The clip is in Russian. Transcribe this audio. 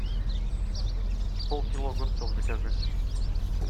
пол кило огурцов закажи